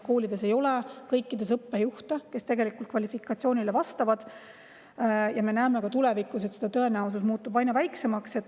Kõikides nendes koolides ei ole õppejuhti, kes tegelikult kvalifikatsiooni vastab, ja me näeme, et tulevikus tõenäosus neid õppejuhte sinna leida muutub aina väiksemaks.